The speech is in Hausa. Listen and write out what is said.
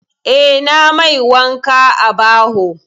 Eh, ina mai wanka a baho.